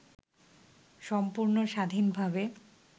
সম্পূর্ণ স্বাধীনভাবে